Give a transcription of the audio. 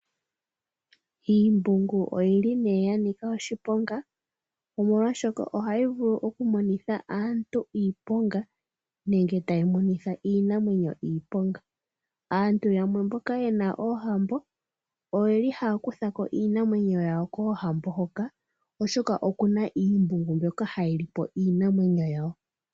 Iimbungu oyili nee yanika oshiponga, omolwaashoka ohayi vulu oku monitha aantu iiponga, nenge tayi monitha iinamwenyo iiponga. Aantu yamwe mboka yena oohambo oyeli haya kuthako iinamwenyo yawo koohambo hoka, okuna iimbungu mbyoka hayi li po iinamwenyo yawo.